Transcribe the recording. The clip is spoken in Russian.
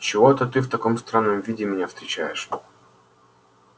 чего это ты в таком странном виде меня встречаешь